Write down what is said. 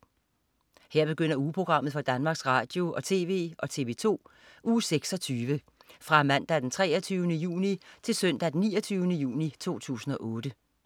Her begynder ugeprogrammet for Danmarks Radio- og TV og TV2 Uge 26 Fra Mandag den 23. juni Til Søndag den 29. juni 2008